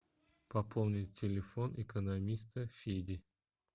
пополнить телефон экономиста феди